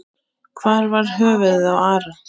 Hvar var höfuðið á Ara?